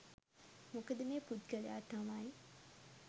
මොකද මේ පුද්ගලයා තමයි